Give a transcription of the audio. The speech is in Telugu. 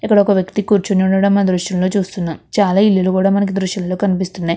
ఇక్కడ ఒక వ్యక్తి కూర్చొని ఉండడం దృశ్యంలో చూస్తున్నాం ఇక్కడ చాలా ఇల్లులు కూడా మనకు దృశ్యంలో కనిపిస్తున్నాయి.